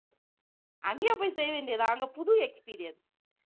அங்கேயே போய் செய்ய வேண்டியது தான் அங்க புது experience